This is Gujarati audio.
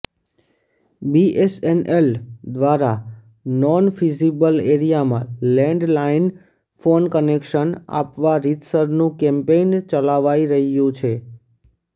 બીએસએનએલ દ્વારા નોન ફીઝીબલ એરીયામાં લેન્ડ લાઈન ફોન કનેક્શન આપવા રીતસરનું કેમ્પેઈન ચલાવાઈ રહ્યું છે